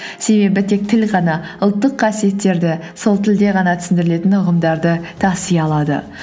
себебі тек тіл ғана ұлттық қасиеттерді сол тілде ғана түсіндірілетін ұғымдарды таси алады